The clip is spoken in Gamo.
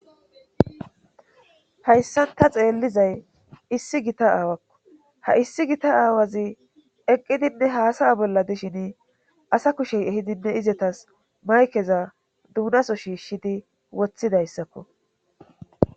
hayssan ta xeellizay issi gita aawakko ha issi gita aawazi eqqidinne haasaya bolla dishin asa kushey ehidinne izetas maykeza duunaso shiishshidi wothidayssakko